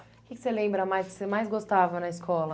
O que que você lembra mais que você mais gostava na escola?